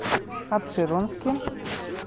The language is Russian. апшеронске